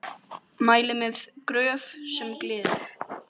Mæli með Gröf sem gleður.